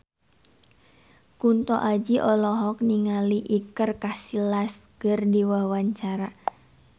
Kunto Aji olohok ningali Iker Casillas keur diwawancara